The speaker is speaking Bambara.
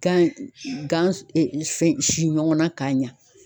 Gan gan fɛn si ɲɔgɔn na ka ɲa